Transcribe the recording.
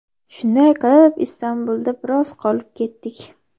Shunday qilib Istanbulda biroz qolib ketdik.